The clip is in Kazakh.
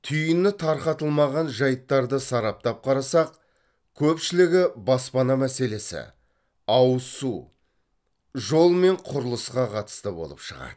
түйіні тарқатылмаған жайттарды сараптап қарасақ көпшілігі баспана мәселесі ауызсу жол мен құрылысқа қатысты болып шығады